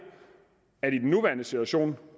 i den nuværende situation